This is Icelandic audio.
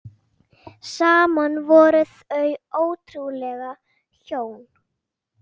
Saman voru þau ótrúleg hjón.